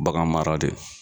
Bagan mara de